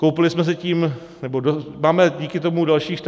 Koupili jsme si tím, nebo máme díky tomu dalších 14 dní.